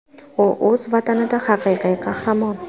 U o‘z Vatanida haqiqiy qahramon.